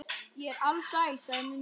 Ég er alsæl, sagði Munda.